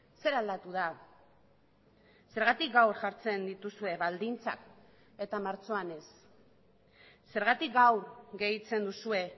zer aldatu da zergatik gaur jartzen dituzue baldintzak eta martxoan ez zergatik gaur gehitzen duzue